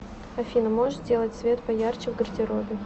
афина можешь сделать свет поярче в гардеробе